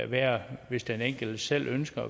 være hvis den enkelte selv ønsker